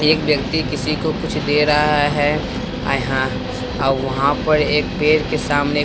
एक व्यक्ति किसी को कुछ दे रहा है आई हां अब वहां पर एक पेर के सामने।